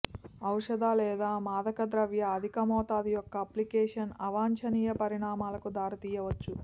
ఔషధ లేదా మాదకద్రవ్య అధిక మోతాదు యొక్క అప్లికేషన్ అవాంఛనీయ పరిణామాలకు దారితీయవచ్చు